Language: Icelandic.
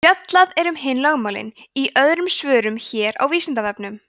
fjallað er um hin lögmálin í öðrum svörum hér á vísindavefnum